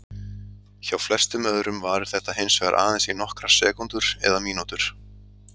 Hjá flestum öðrum varir þetta hins vegar aðeins í nokkrar sekúndur eða mínútur.